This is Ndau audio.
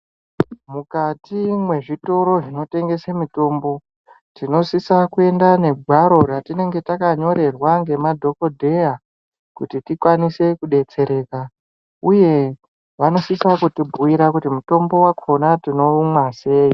Mukati mwezvitoro zvinotengese mitombo tinosisa kuenda negwaro ratinenge takanyorerwa ngemadhokodheya kuti tikwanise kudetserwa uye vanosisa kutibhuira kuti mutombo wakona tinoumwa sei.